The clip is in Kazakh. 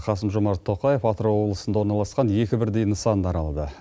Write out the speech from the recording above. қасым жомарт тоқаев атырау облысында орналасқан екі бірдей нысанды аралады